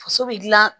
Faso bɛ dilan